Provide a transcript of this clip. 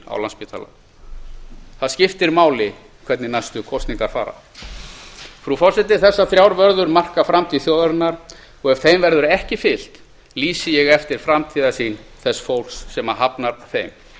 á landspítalanum það skiptir máli hvernig næstu kosningar fara frú forseti þessar þrjár vörður marka framtíð þjóðarinnar og ef þeim verður ekki fylgt lýsi ég eftir framtíðarsýn þess fólks sem hafnar þeim